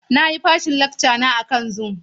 Na yi fashin lacka na akan Zoom.